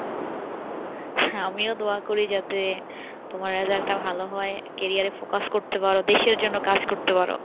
হ্যাঁ আমিও দোয়া করি যাতে তোমার result টা ভালো হয় career এ focus করতে পারো দেশের জন্য কাজ করতে পারো